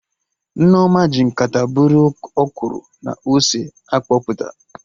Nneoma ji nkata bụrụ ọkwụrụ na ose a kpọpụta